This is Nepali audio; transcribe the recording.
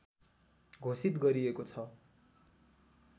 घोषित गरिएको छ